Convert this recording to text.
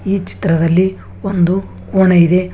ಈ ಚಿತ್ರದಲ್ಲಿ ಒಂದು ಕೋಣೆ ಇದೆ.